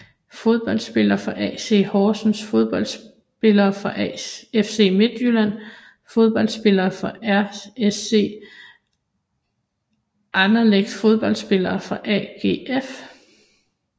Fodboldspillere fra AC Horsens Fodboldspillere fra FC Midtjylland Fodboldspillere fra RSC Anderlecht Fodboldspillere fra AGF